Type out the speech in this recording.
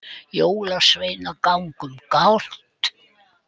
Jólasveinar ganga um gátt